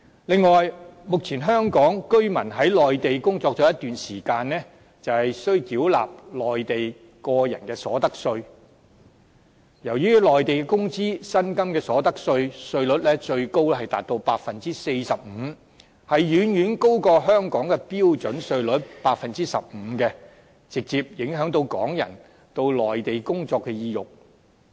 另外，目前香港居民在內地工作了一段時間，便需繳納內地個人所得稅，由於內地工資、薪金的所得稅，稅率最高達到 45%， 遠遠高於香港的標準稅率 15%， 直接影響港人到內地工作的意欲。